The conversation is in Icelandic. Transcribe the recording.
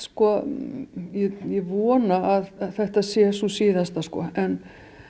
ég vona að þetta sé sú síðasta en